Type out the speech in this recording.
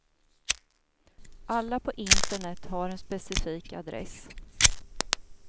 Alla på internet har en specifik adress.